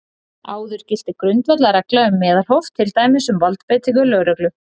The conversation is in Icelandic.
Áður gilti grundvallarregla um meðalhóf, til dæmis um valdbeitingu lögreglu.